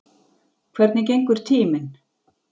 Hvernig gengur tíminn?